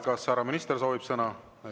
Kas härra minister soovib sõna?